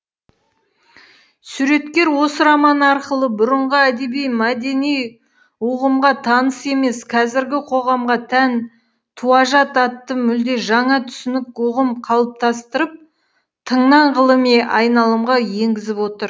суреткер осы романы арқылы бұрынғы әдеби мәдени ұғымға таныс емес қазіргі қоғамға тән туажат атты мүлде жаңа түсінік ұғым қалыптастырып тыңнан ғылыми айналымға енгізіп отыр